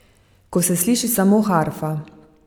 Ko se sliši samo harfa.